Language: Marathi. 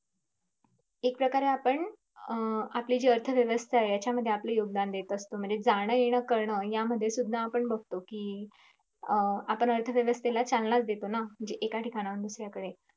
एक प्रकारे आपण अं आपली जी अर्थ व्यवस्था आहे यांच्यामध्ये आपले योगदान देत असतो म्हणजे जाण येणं करणं यामध्ये सुद्धा आपण बगतो कि अं आपण अर्थ व्यवस्थेला चालना देतो ना म्हणजे एका ठिकाणाहून दुसऱ्याकडे